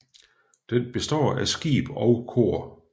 Den består af skib og kor